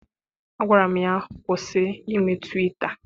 Agwara m ya, kwụsị ime twita!